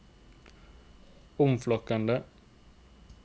omflakkende